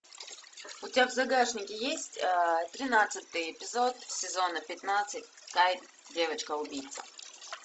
у тебя в загашнике есть тринадцатый эпизод сезона пятнадцать кай девочка убийца